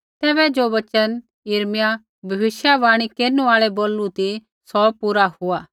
तैबै ज़ो वचन यिर्मयाह भविष्यवाणी केरनु आल़ै बोलू ती सौ पूरा हुआ